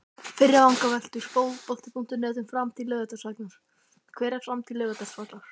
Fyrri vangaveltur Fótbolti.net um framtíð Laugardalsvallar: Hver er framtíð Laugardalsvallar?